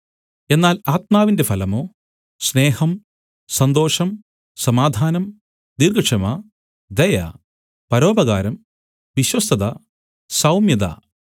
എന്നാൽ ആത്മാവിന്റെ ഫലമോ സ്നേഹം സന്തോഷം സമാധാനം ദീർഘക്ഷമ ദയ പരോപകാരം വിശ്വസ്തത സൗമ്യത